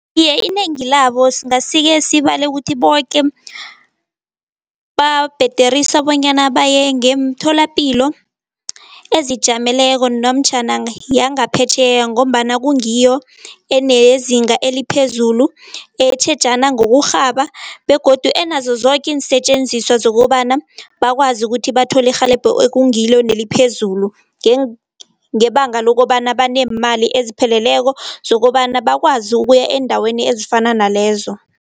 Iye, inengi labo singase-ke sibale ukuthi boke, babhederisa bonyana baye ngemtholapilo ezijameleko namtjhana yangaphetjheya ngombana kungiyo enezinga eliphezulu, etjhejana ngokurhaba begodu enazo zoke iinsetjenziswa zokobana bakwazi ukuthi bathole irhelebho ekungilo neliphezulu. Ngebanga lokobana baneemali ezipheleleko zokobana bakwazi ukuya eendaweni ezifana nalezo.